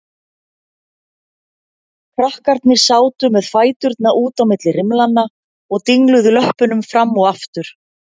Krakkarnir sátu með fæturna út á milli rimlanna og dingluðu löppunum fram og aftur.